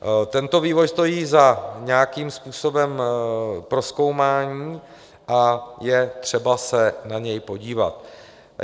Tento vývoj stojí za nějakým způsobem prozkoumání a je třeba se na něj podívat.